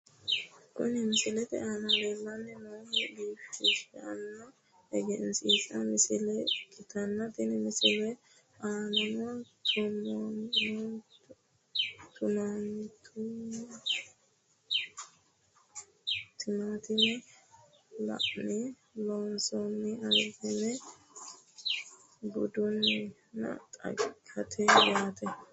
Kuni misilete aana lellanni noohu biifishsha egensiinsoonni misile ikkitanna, tenne misile aanano tumaatumete laalonni loonsoonni albaho buudhinanni xaggati yaate .